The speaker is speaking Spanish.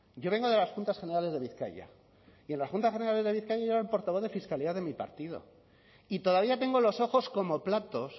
yo vengo de las juntas generales de bizkaia y en la juntas generales de bizkaia yo era el portavoz de fiscalidad de mi partido y todavía tengo los ojos como platos